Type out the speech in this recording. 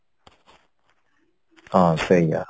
ହଁ ସେଇଆ